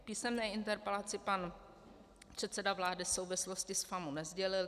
V písemné interpelaci pan předseda vlády souvislosti s FAMU nesdělil.